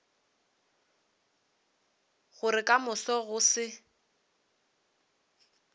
gore ka moso go se